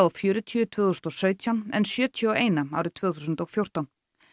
fjörutíu tvö þúsund og sautján en sjötíu og eitt árið tvö þúsund og fjórtán